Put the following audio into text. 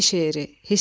Bakı şəhəri.